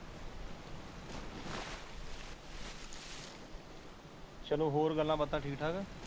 ਚਲੋ ਹੋਰ ਗਲਾ ਬਾਤਾਂ ਠੀਕ ਠਾਕ